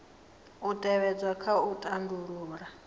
u tevhedzwa kha u tandulula